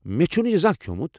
مےٚ چھُنہٕ یہِ زانٛہہ کھٮ۪ومُت۔